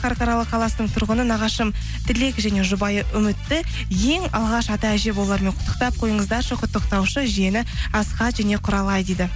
қарқаралы қаласының тұрғыны нағашым тілек және жұбайы үмітті ең алғаш ата әже болуларымен құттықтап қойыңыздаршы құттықтаушы жиені асхат және құралай дейді